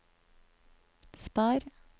spar